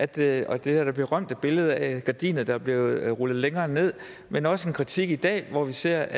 det og der er det berømte billede af gardiner der bliver rullet længere ned men også en kritik i dag hvor vi ser